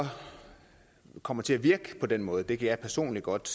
kommer til at virke på den måde kan jeg personligt godt